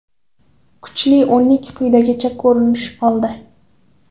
Kuchli o‘nlik quyidagicha ko‘rinish oldi: !